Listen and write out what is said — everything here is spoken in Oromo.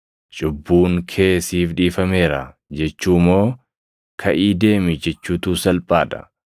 ‘Cubbuun kee siif dhiifameera’ jechuu moo ‘Kaʼii deemi’ jechuutu salphaa dha?